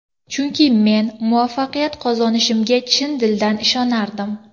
Chunki men muvaffaqiyat qozonishimga chin dildan ishonardim”.